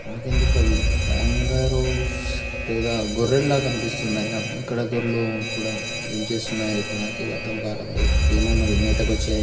నాకెందుకొ అవి కంగారోస్ లేదా గొర్రెల కనిపిస్తున్నాయి నాకు ఇక్కడ గోర్లు కూడా ఏం చేస్తున్నాయో నాకు అర్థం కావట్లేదు ఏమొ మరి మేతకు వచ్చాయా